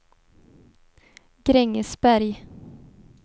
Grängesberg